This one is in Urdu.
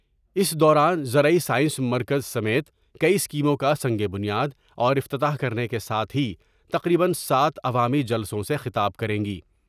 اس دوران زرعی سائنس مرکز سمیت کئی اسکیموں کا سنگ بنیاد اور افتتاح کرنے کے ساتھ ہی تقریبا سات عوامی جلسوں سے خطاب کریں گی ۔